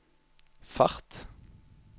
fart